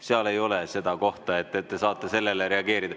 Seal ei ole seda kohta, et te saate sellele reageerida.